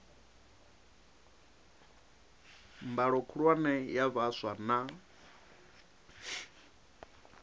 mbalo khulwane ya vhaswa na